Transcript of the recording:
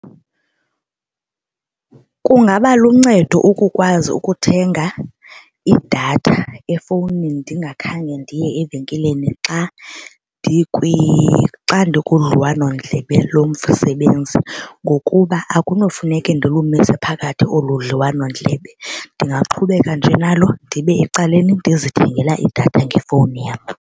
Kungaba luncedo ukukwazi ukuthenga idatha efowunini ndingakhange ndiye evenkileni xa ndikudliwanondlebe lomsebenzi ngokuba akunofuneke ndilumise phakathi olu dliwanondlebe. Ndingaqhubeka nje nalo ndibe ecaleni ndizithengela idatha ngefowuni yam.